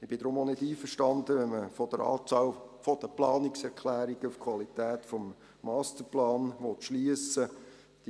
Ich bin deshalb auch nicht einverstanden, wenn man von der Anzahl der Planungserklärungen auf die Qualität des Masterplans schliessen will.